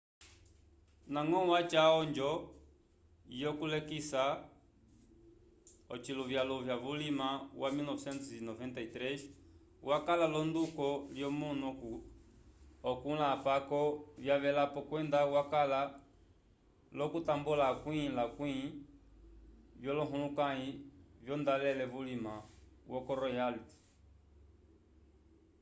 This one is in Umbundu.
ndañgo washa onjo yokulekisa oviluvyaluvya vulima wa 1993 wakala l'onduko lyomunu okũla apako vyavelapo kwenda wakala l'okutambula akwĩ-lakwĩ vyolohulukãyi vyondolale vulima ko royalties